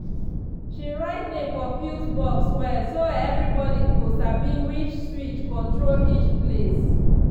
she write name for fuse box well so everybody go sabi which switch control each place.